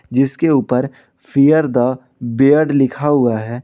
जिसके ऊपर fear the beard लिखा हुआ है।